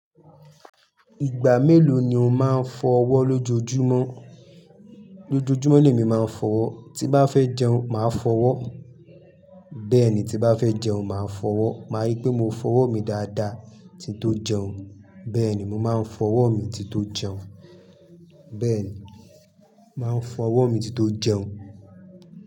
Ìgbà mélòó ni o máa ń fọ ọwọ́ lójoojúmọ́? Lójojúmọ́ le mi máa ń fọ wọ́. Tí bá fẹ́ jẹun, màá fọ wọ́. Bẹ́ẹ̀ni tí bá fẹ́ jẹun, màá fọ wọ́. Máa rí pé mo fọ ọwọ́ mi dáadáa tí tó jẹun. Bẹ́ẹ̀ni, mo máa ń fọ ọwọ́ mi tí tó jẹun. Bẹ́ẹ̀ni, máa ń fọ ọwọ́ mi tí tó jẹun.